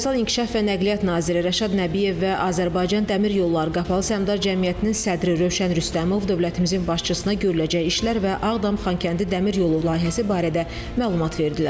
Rəqəmsal İnkişaf və Nəqliyyat naziri Rəşad Nəbiyev və Azərbaycan Dəmir yolları Qapalı Səhmdar Cəmiyyətinin sədri Rövşən Rüstəmov dövlətimizin başçısına görüləcək işlər və Ağdam-Xankəndi Dəmir yolu layihəsi barədə məlumat verdilər.